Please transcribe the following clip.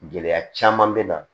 Gɛlɛya caman bɛ na